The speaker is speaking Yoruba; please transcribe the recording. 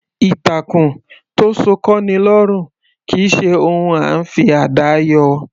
Ìtàkùn tó sọ kọ́'ni lọ́rùn kì í ṣe ohun à ńfi àdá yọ.